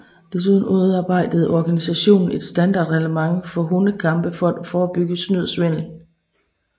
Desuden udarbejdede organisationen et standard reglement for hundekampe for at forebygge snyd og svindel